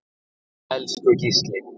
Elsku Gísli.